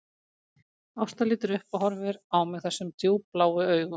Ásta lítur upp og horfir á mig þessum djúpbláu augum